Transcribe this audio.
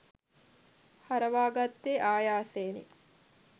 හරවාගත්තේ ආයාසයෙනි